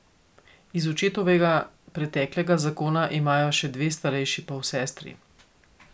Iz očetovega preteklega zakona imajo še dve starejši polsestri.